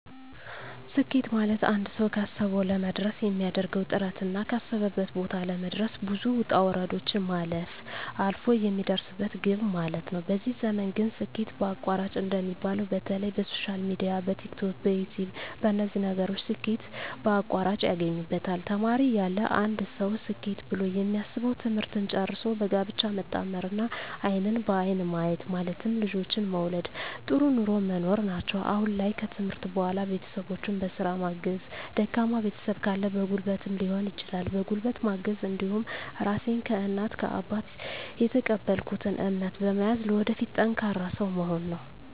ስኬት ማለትአንድ ሰዉ ካሰዉ ለመድረስ የሚያደርገዉ ጥረትና ካሰበበት ቦታ ለመድረስ ብዙ ዉጣ ዉረዶችን ማለፍ አልፍ የሚደርስበት ግብ ማለት ነዉ በዚህ ዘመን ግን ስኬት በአቋራጭ እንደሚባለዉ በተለይ በሶሻል ሚድያ በቲክቶክ በዩትዩብ በነዚህ ነገሮች ስኬት በአቋራጭ ያገኙበታል ተማሪ እያለ አንድ ሰዉ ስኬት ብሎ የሚያስበዉ ትምህርትን ጨርሶ በጋብቻ መጣመርና አይንን በአይን ማየት ማለትም ልጆችን መዉለድ ጥሩ ኑሮ መኖር ናቸዉ አሁን ላይ ከትምህርት በኋላ ቤተሰቦቸን በስራ ማገዝ ደካማ ቤተሰብ ካለ በጉልበትም ሊሆን ይችላል በጉልበት ማገዝ እንዲሁም ራሴን ከእናት ከአባት የተቀበልኩትን እምነት በመያዝ ለወደፊት ጠንካራ ሰዉ መሆን ነዉ